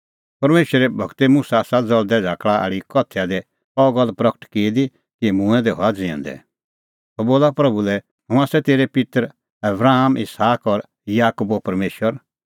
परमेशरे गूरै मुसा आसा ज़ल़दै झ़ाकल़ा आल़ी कथैया दी अह गल्ल प्रगट की दी कि मूंऐं दै हआ ज़िऊंदै सह बोला प्रभू लै हुंह आसा तेरै पित्तर आबराम इसहाक और याकूबो परमेशर